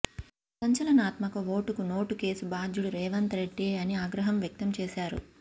సంచలనాత్మక ఓటుకు నోటు కేసు బాధ్యుడు రేవంత్ రెడ్డే అని ఆగ్రహం వ్యక్తంచేశారు